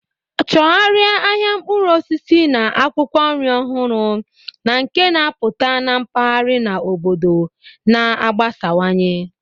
Chọgharịa ahịa mkpụrụ osisi na akwụkwọ nri ọhụrụ na nke na-apụta na mpaghara na obodo na-agbasawanye.